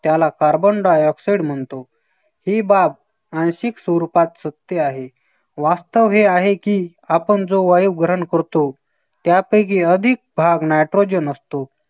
त्याला carbon di-oxide म्हणतो. ही बाब आणखीक स्वरूपात सत्य आहे. वास्तव हे आहे, की आपण जो वायू ग्रहण करतो त्यापैकी अधिक भाग nitrogen असतो